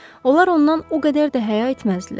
Onlar ondan o qədər də həya etməzdilər.